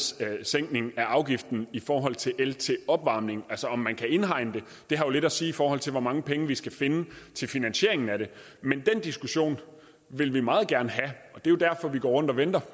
sænkning af afgiften i forhold til el til opvarmning altså om man kan indhegne det det har jo lidt at sige i forhold til hvor mange penge vi skal finde til finansieringen af det men den diskussion vil vi meget gerne have det er jo derfor vi går rundt og venter